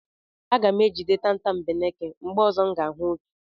Aga m ejide tatambeneke mgbe ọzọ m ga-ahụ otu.